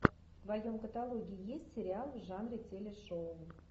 в твоем каталоге есть сериал в жанре телешоу